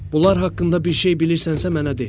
Bunlar haqqında bir şey bilirsənsə mənə de.